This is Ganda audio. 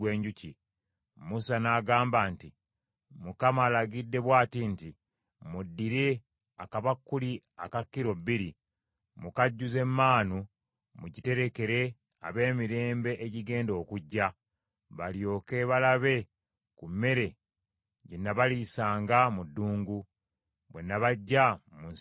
Musa n’agamba nti, “ Mukama alagidde bw’ati nti, ‘Muddire akabakuli aka kilo bbiri mukajjuze maanu mugiterekere ab’emirembe egigenda okujja; balyoke balabe ku mmere gye nabaliisanga mu ddungu, bwe nabaggya mu nsi y’e Misiri.’ ”